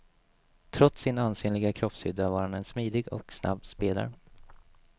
Trots sin ansenliga kroppshydda var han en smidig och snabb spelare.